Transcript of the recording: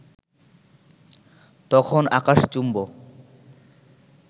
তখন আকাশচুম্ব